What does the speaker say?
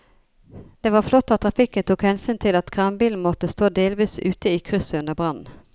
Det var flott at trafikken tok hensyn til at kranbilen måtte stå delvis ute i krysset under brannen.